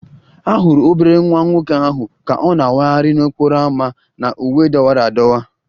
A hụrụ obere nwa nwoke ahụ ka ọ na-awagharị n'okporo ámá na uwe dọwara adọwa